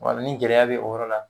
Wa ni gɛlɛya bɛ o yɔrɔ la